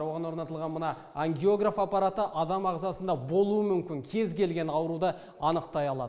оған орнатылған мына ангиограф аппараты адам ағзасында болуы мүмкін кез келген ауруды анықтай алады